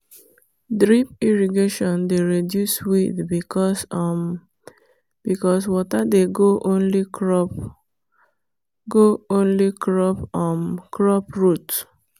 drip irrigation dey reduce weed because um water dey go only crop go only crop um root.